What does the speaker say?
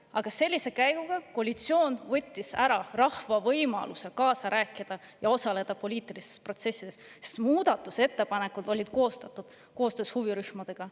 Aga sellise käiguga koalitsioon võttis ära rahva võimaluse kaasa rääkida ja osaleda poliitilistes protsessides, sest muudatusettepanekud olid koostatud koostöös huvirühmadega.